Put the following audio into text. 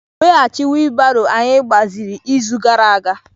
Weghachi wiilibaro anyị gbaziri izu gara aga.